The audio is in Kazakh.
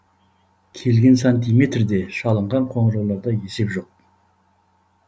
келген сантиметрде шалынған қоңырауларда есеп жоқ